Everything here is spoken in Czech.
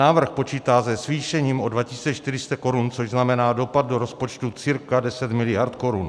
Návrh počítá se zvýšením o 2 400 korun, což znamená dopad do rozpočtu cca 10 miliard korun.